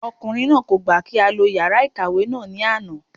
Ọkùnrin náà kò gbà kí á lo yàrá ìkàwé ní àná